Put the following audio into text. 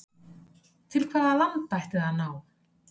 Til hvaða landa ætti það að ná?